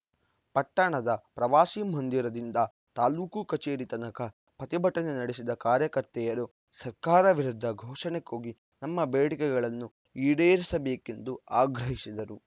ಪಟ್ಟಣದ ಪ್ರವಾಸಿ ಮಂದಿರದಿಂದ ತಾಲೂಕು ಕಚೇರಿ ತನಕ ಪ್ರತಿಭಟನೆ ನಡೆಸಿದ ಕಾರ್ಯಕರ್ತೆಯರು ಸರ್ಕಾರ ವಿರುದ್ಧ ಘೋಷಣೆ ಕೂಗಿ ನಮ್ಮ ಬೇಡಿಕೆಗಳನ್ನು ಈಡೇರಿಸಬೇಕೆಂದು ಆಗ್ರಹಿಸಿದರು